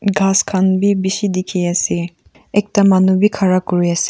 ghas khan bi bishi dikhiase ekta manu bi khara kurias--